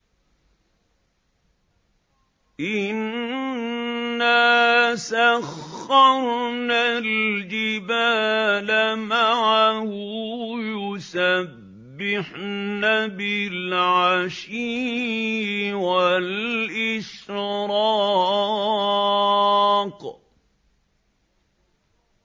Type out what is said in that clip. إِنَّا سَخَّرْنَا الْجِبَالَ مَعَهُ يُسَبِّحْنَ بِالْعَشِيِّ وَالْإِشْرَاقِ